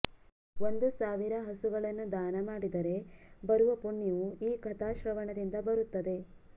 ಒಂದು ಸಾವಿರ ಹಸುಗಳನ್ನು ದಾನಮಾಡಿದರೆ ಬರುವ ಪುಣ್ಯವು ಈ ಕಥಾಶ್ರವಣದಿಂದ ಬರುತ್ತದೆ